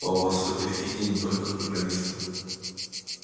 а у вас в этой фиде не только программисты